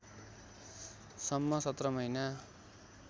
सम्म १७ महिना